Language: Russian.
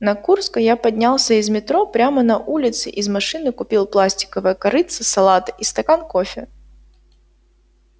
на курской я поднялся из метро прямо на улице из машины купил пластиковое корытце салата и стакан кофе